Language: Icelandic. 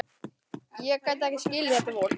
Ég gat ekki skilið þetta fólk.